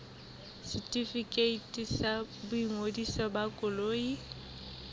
setefikeiti sa boingodiso ba koloi